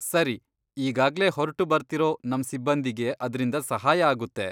ಸರಿ, ಈಗಾಗ್ಲೇ ಹೊರ್ಟು ಬರ್ತಿರೋ ನಮ್ ಸಿಬ್ಬಂದಿಗೆ ಅದ್ರಿಂದ ಸಹಾಯ ಆಗುತ್ತೆ.